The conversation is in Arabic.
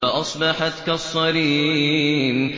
فَأَصْبَحَتْ كَالصَّرِيمِ